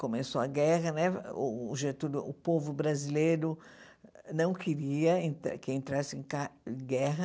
Começou a guerra né, o Getúlio o povo brasileiro não queria entra que entrasse com a guerra,